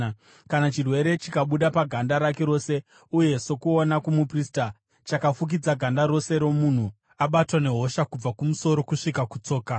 “Kana chirwere chikabuda paganda rake rose uye sokuona kwomuprista, chakafukidza ganda rose romunhu abatwa nehosha, kubva kumusoro kusvika kutsoka,